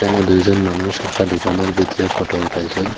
এখানে দুইজন মানুষ একটা দুকানোর ভিতরে ফটো উঠাইছে।